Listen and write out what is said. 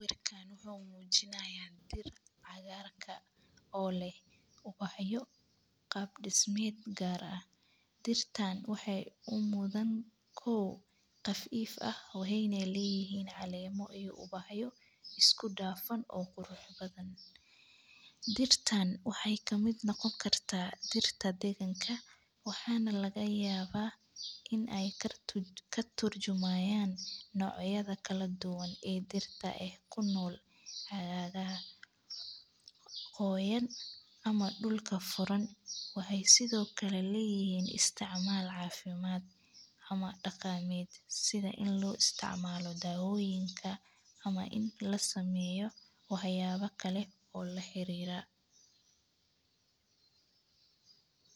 Sqwirkan wuxu mujinayaa dir cagarka oo leh ubaxyo qab dismed gar ah dirtan waxee umudhan qafif ah kow waxena leyihin calemo iyo ubaxyo isku dafan oo qurux badqn dirtan waxee kamiid noqon kartaa dirta deganka waxana laga yawa in ee katurjumayan nocyada kale ee dirta kunol xagaha qoyan ama dulka furan waxee ledhahay in lasameyo waxyaba kale oo la xirira.